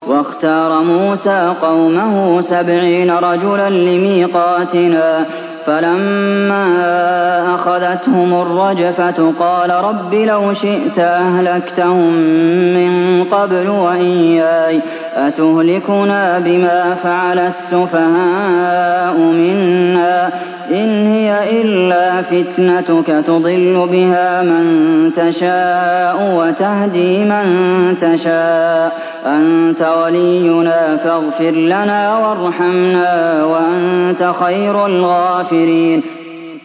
وَاخْتَارَ مُوسَىٰ قَوْمَهُ سَبْعِينَ رَجُلًا لِّمِيقَاتِنَا ۖ فَلَمَّا أَخَذَتْهُمُ الرَّجْفَةُ قَالَ رَبِّ لَوْ شِئْتَ أَهْلَكْتَهُم مِّن قَبْلُ وَإِيَّايَ ۖ أَتُهْلِكُنَا بِمَا فَعَلَ السُّفَهَاءُ مِنَّا ۖ إِنْ هِيَ إِلَّا فِتْنَتُكَ تُضِلُّ بِهَا مَن تَشَاءُ وَتَهْدِي مَن تَشَاءُ ۖ أَنتَ وَلِيُّنَا فَاغْفِرْ لَنَا وَارْحَمْنَا ۖ وَأَنتَ خَيْرُ الْغَافِرِينَ